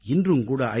இன்றும் கூட ஐ